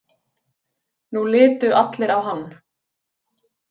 Nú litu allir á hann.